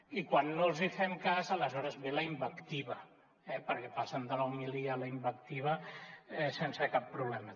i quan no els fem cas aleshores ve la invectiva eh perquè passen de la homilia a la invectiva sense cap problema